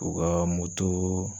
U ka